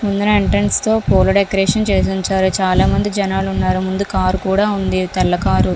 ముందల ఎంట్రెన్స్ తో పూల డెకరేషన్ చేసి ఉంచారు. చాలామంది జనాలు ఉన్నారు. ముందు కారు కూడా ఉంది తెల్ల కారు .